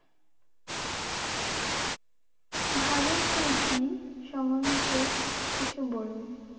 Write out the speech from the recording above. ভারতপ্রীতি সম্মন্ধে কিছু বলুন?